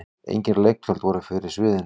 Engin leiktjöld voru fyrir sviðinu.